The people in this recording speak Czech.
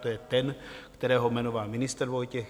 To je ten, kterého jmenoval ministr Vojtěch.